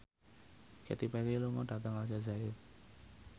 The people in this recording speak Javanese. Katy Perry lunga dhateng Aljazair